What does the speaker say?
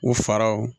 U faraw